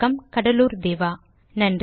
மொழியாக்கம் கடலூர் திவா